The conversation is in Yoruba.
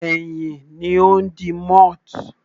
Ẹyin ni ó ń di moth.